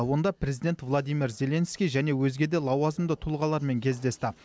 онда президент владимир зеленский және өзге де лауазымды тұлғалармен кездесті